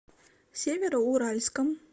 североуральском